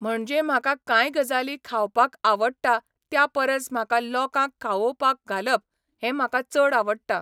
म्हणजे म्हाका कांय गजाली खावपाक आवडटा त्या परस म्हाका लोकांक खावोवपाक घालप हें म्हाका चड आवडटा